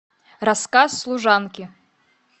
рассказ служанки